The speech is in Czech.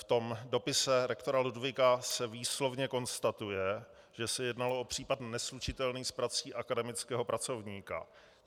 V tom dopise rektora Ludwiga se výslovně konstatuje, že se jednalo o případ neslučitelný s prací akademického pracovníka.